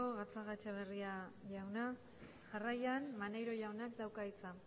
gatzagaetxebarria jauna jarraian maneiro jaunak dauka hitza